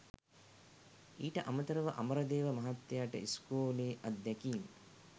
ඊට අමතරව අමරදේව මහත්තයට ඉස්කෝලේ අත්දැකීම්